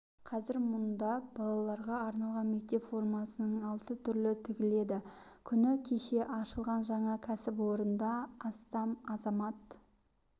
қазір мұнда балаларға арналған мектеп формасының алты түрі тігіледі күні кеше ашылған жаңа кәсіпорында астам азамат